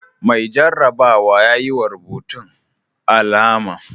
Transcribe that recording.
Mai jarrabawa ya yi wa rubutun alama.